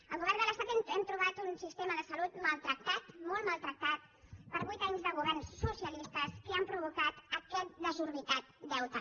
al govern de l’estat hem trobat un sistema de salut maltractat molt maltractat per vuit anys de governs socialistes que han provocat aquest desorbitat deute